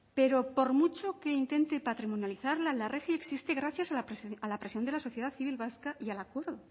pero por mucho que intente patrimonializarla la rgi existe gracias a la presión de la sociedad civil vasca y al acuerdo